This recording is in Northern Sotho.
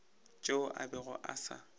tšeo a bego a sa